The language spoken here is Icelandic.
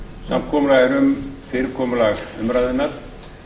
samkomulag er um fyrirkomulag umræðunnar